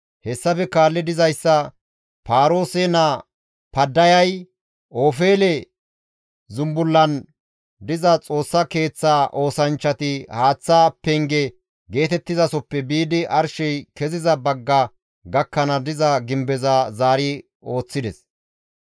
Hessafe kaalli dizayssa Paaroose naa Paddayay, «Ofeele» zumbullan diza Xoossa Keeththa oosanchchati haaththa penge geetettizasoppe biidi arshey keziza bagga gakkanaas diza gimbeza zaari ooththides.